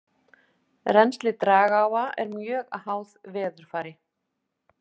Rennsli dragáa er mjög háð veðurfari.